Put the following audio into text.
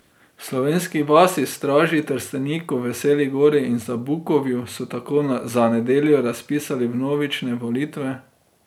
V Slovenski vasi, Straži, Trsteniku, Veseli Gori in Zabukovju so tako za nedeljo razpisali vnovične volitve.